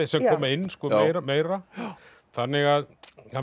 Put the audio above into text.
sem koma inn meira þannig að